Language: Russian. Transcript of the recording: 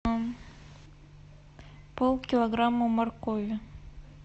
полкилограмма моркови